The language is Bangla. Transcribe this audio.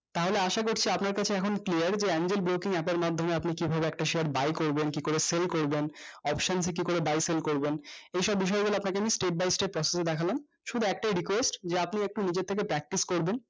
তাহলে আসা করছি আপনার কাছে এখন clear যে angel broking মাধ্যমে কিভাবে আপনি একটা share buy করবেন কি করে sale করবেন করবেন এই সব বিষয় গুলো আপনাকে আমি stepbystep দেখালাম শুধু একটাই request যে আপনি একটু নিজে থেকে practice করবেন